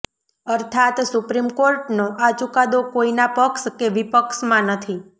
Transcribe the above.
અર્થાત સુપ્રીમ કોર્ટનો આ ચુકાદો કોઇના પક્ષ કે વિપક્ષમાં નથી